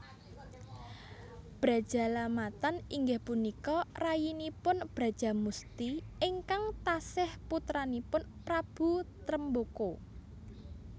Brajalamatan inggih punika rayinipun Brajamusti ingkang tasih putranipun Prabu Tremboko